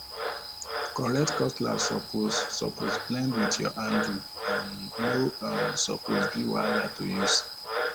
correct cutlass suppose suppose blend with your hande um no um suppose be wahala to use um